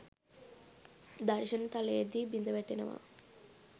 දර්ශන තලයේදී බිඳවැටෙනවා.